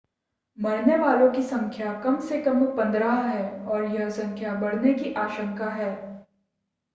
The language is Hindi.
मरने वालों की संख्या कम से कम 15 है और यह संख्या बढ़ने की आशंका है